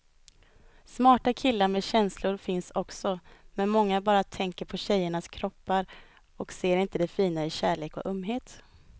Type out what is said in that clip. Smarta killar med känslor finns också, men många bara tänker på tjejernas kroppar och ser inte det fina i kärlek och ömhet.